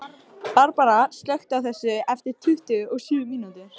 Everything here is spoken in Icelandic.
Barbara, slökktu á þessu eftir tuttugu og sjö mínútur.